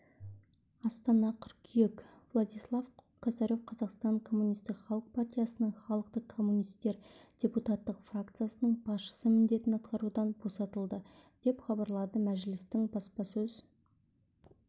астана қыркүйек владислав косарев қазақстан коммунистік халық партиясының халықтық коммунистер депутаттық фракциясының басшысы міндетін атқарудан босатылды деп хабарлады мәжілістің баспасөз